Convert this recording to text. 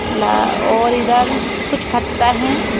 ला और इधर कुछ फत्ता है।